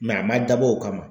Mɛ a ma dabɔ o kama